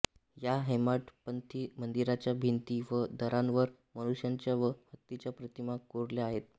या हेमाडपंथी मंदिराच्या भिंती व दारांवर मनुष्यांच्या व हत्तींच्या प्रतिमा कोरल्या आहेत